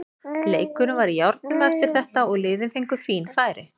Leikurinn var í járnum eftir þetta og liðin fengu fín færi.